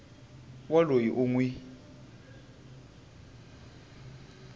wa loyi u n wi